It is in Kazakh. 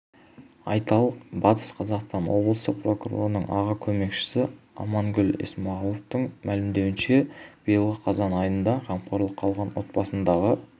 айталық батыс қазақстан облысы прокурорының аға көмекшісі алмагүл есмағұлованың мәлімдеуінше биылғы қазан айында қамқорлыққа алған отбасындағы